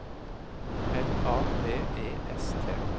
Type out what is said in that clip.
L A V E S T